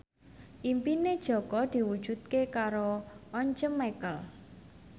impine Jaka diwujudke karo Once Mekel